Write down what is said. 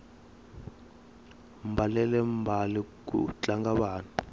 mbalele mbale ku tlanga vana